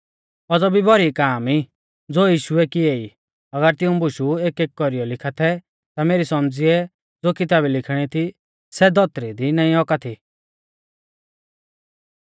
औज़ौ भी भौरी काम ई ज़ो यीशुऐ किएई अगर तिऊं बुशु एक एक कौरीऐ लिखा थै ता मेरी सौमझ़िऐ ज़ो किताबै लिखीणी थी सै धौतरी दी नाईं औका थी